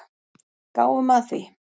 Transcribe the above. Gáum að því.